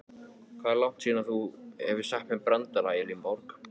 Hvað er langt síðan þú hefur sagt mér brandara Elínborg?